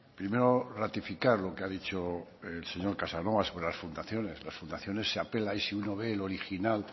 primero ratificar lo que ha dicho el señor casanova sobre las fundaciones las fundaciones se apela y si uno ve el original